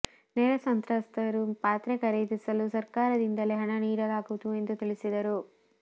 ನೆರೆ ಸಂತ್ರಸ್ತರು ಪಾತ್ರೆ ಖರೀದಿಸಲು ಸಕರ್ಾರದಿಂದಲೇ ಹಣ ನೀಡಲಾಗುವುದು ಎಂದು ತಿಳಿಸಿದರು